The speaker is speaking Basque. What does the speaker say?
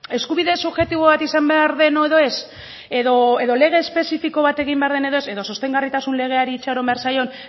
eskubide subjektibo bat izan behar den edo ez edo lege espezifiko bat egin behar den edo ez edo sostengarritasun legeari itxaron behar zaion